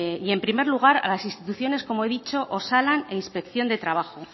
y en primer lugar a las instituciones como he dicho osalan e inspección de trabajo